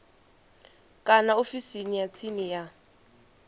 kana ofisini ya tsini ya